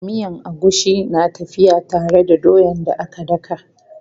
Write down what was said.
Miyan agushi na tafiya tare da doyan da aka daka.